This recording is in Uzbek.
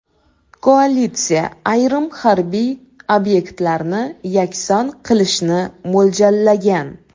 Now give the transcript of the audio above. Koalitsiya ayrim harbiy obyektlarni yakson qilishni mo‘ljallagan.